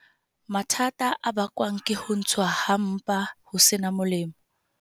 Mathata a bakwang ke ho ntshuwa ha mpa ho seng molaong.